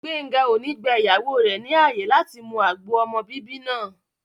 Gbéńga ò ní gba ìyàwó rẹ̀ ní ààyè láti mu agbo ọmọ bíbí náà